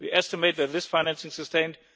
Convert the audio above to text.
We estimate that this financing sustained